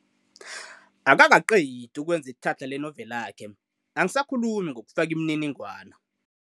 Akakaqedi ukwenza itlhatlha lenoveli yakhe, angisakhulumi ngokufaka imininingwana.